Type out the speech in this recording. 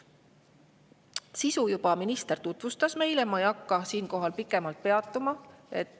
Sisu minister juba tutvustas meile, ma ei hakka sellel siinkohal pikemalt peatuma.